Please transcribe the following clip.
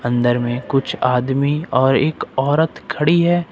अंदर में कुछ आदमी और एक औरत खड़ी है।